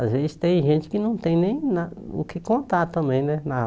Às vezes tem gente que não tem nem na o que contar também, né? Na